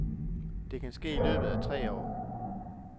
Det kan ske i løbet af tre år.